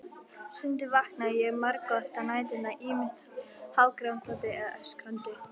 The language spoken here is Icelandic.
Stundum vaknaði ég margoft á næturnar, ýmist hágrátandi eða öskrandi.